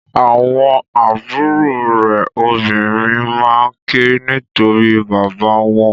Àwọn àbúrò rẹ obìnrin maa ke nitori bàbá wọn.